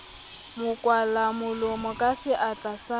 mo kwalamolomo ka seatla sa